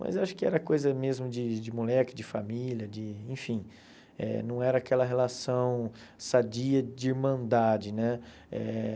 Mas acho que era coisa mesmo de de moleque, de família, de... Enfim, eh não era aquela relação sadia de irmandade, né? Eh